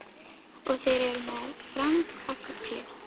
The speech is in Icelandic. Og þeir eru með farm af fugli.